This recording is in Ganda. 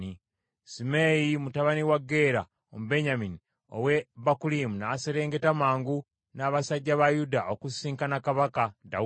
Simeeyi mutabani wa Gera Omubenyamini ow’e Bakulimu n’aserengeta mangu n’abasajja ba Yuda okusisinkana kabaka Dawudi.